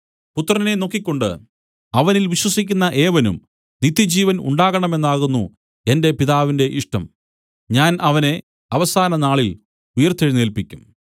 പുത്രനെ നോക്കിക്കൊണ്ട് അവനിൽ വിശ്വസിക്കുന്ന ഏവനും നിത്യജീവൻ ഉണ്ടാകണമെന്നാകുന്നു എന്റെ പിതാവിന്റെ ഇഷ്ടം ഞാൻ അവനെ അവസാന നാളിൽ ഉയിർത്തെഴുന്നേല്പിക്കും